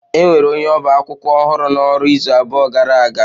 E nwere onye ọba akwụkwọ ọhụrụ n'ọrụ izu abụọ gara aga